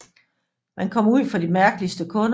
Man kommer ud for de mærkeligste kunder